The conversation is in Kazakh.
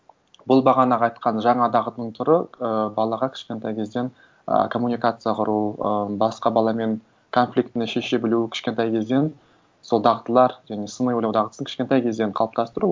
бұл бағанағы айтқан жаңа дағдының түрі ы балаға кішкентай кезден ы коммуникация құру ы басқа баламен конфликтіні шеше білу кішкентай кезден сол дағдылар және сыни ойлау дағдысын кішкентай кезден қалыптастыру